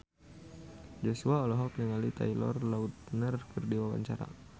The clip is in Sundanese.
Joshua olohok ningali Taylor Lautner keur diwawancara